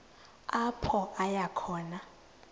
apho aya khona